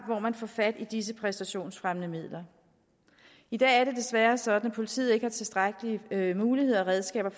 hvor man får fat i disse præstationsfremmende midler i dag er det desværre sådan at politiet ikke har tilstrækkelige muligheder og redskaber